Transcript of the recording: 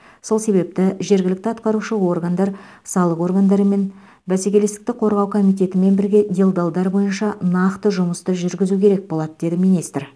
сол себепті жергілікті атқарушы органдар салық органдарымен бәсекелестікті қорғау комитетімен бірге делдалдар бойынша нақты жұмысты жүргізу керек болады деді министр